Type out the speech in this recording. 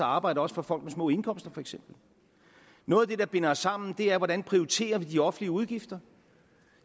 arbejde også for folk med små indkomster noget af det der binder os sammen er hvordan vi prioriterer de offentlige udgifter